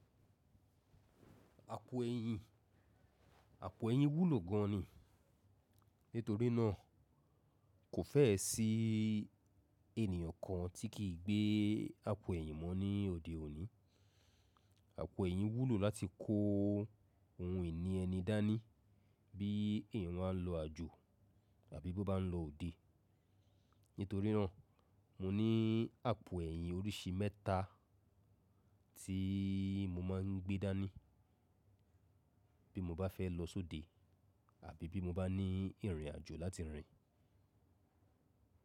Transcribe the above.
Àpò ẹ̀yìn, àpò ẹ̀yìn wúlò gan ni. Nítorí náà kò fẹ́ẹ́ sí ènìyàn kan tí kì í gbe àpò ẹ̀yìn mọ ní òde òní. Àpò ẹ̀yìn wúlò láti kó ohun ìní ẹni dání bí èèyàn ba n lọ àjò àbí bó bá n lọ òde. Nítorí náà mo ní àpò ẹ̀yìn oríṣi mẹ́ta tí mo máa n gbé dání bí mo bá fẹ́ lọ sóde àbí bí mo bá ní ìrìnàjò láti rìn.